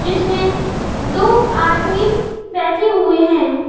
इसमें दो आदमी बैठे हुए हैं।